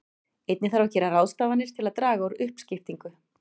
Einnig þarf að gera ráðstafanir til að draga úr uppskiptingu.